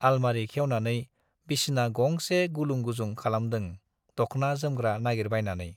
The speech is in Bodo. आलमारि खेवनानै बिसना गंसे गुलुंगुजुं खालामदों दख्ना जोमग्रा नागिरबायनानै।